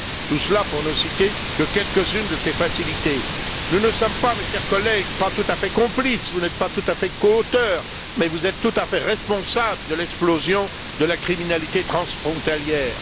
Tout cela pour ne citer que quelques unes de ces facilités. Nous ne sommes pas tout à fait complices, mes chers collègues, vous n'êtes pas tout à fait coauteurs, mais vous êtes tout à fait responsables de l'explosion de la criminalité transfrontalière.